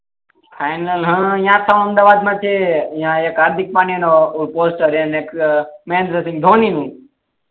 final હા આખા અમદાવાદ મા જ છે એ હાર્દિક પંડ્યા નું પોસ્ટર ને મહેન્દ્રા સિંહ ધોની નું